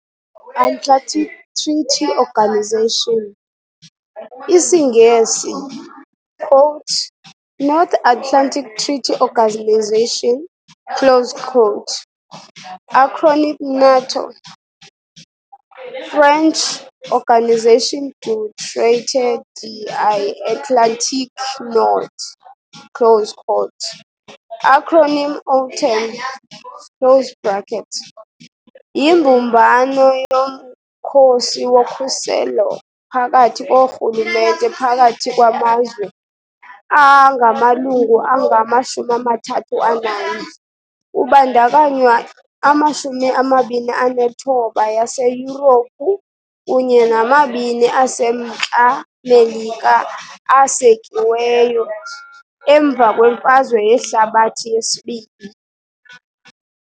Atlantic Treaty Organisation IsiNgesi, quote, North Atlantic Treaty Organisation, close quote, acronym NATO, French, Organisation du traité de l' Atlantique nord close quote, acronym OTAN close bracket. Yimbumbano yomkhosi wokhuselo phakathi koorhulumente phakathi kwamazwe angamalungu angama-31, kubandakanywa ama-29 yaseYurophu kunye namabini aseMntla Melika, asekiweyo. emva kweMfazwe Yehlabathi II.